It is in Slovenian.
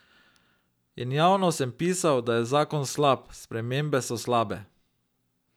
In javno sem pisal, da je zakon slab, spremembe so slabe.